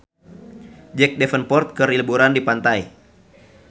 Jack Davenport keur liburan di pantai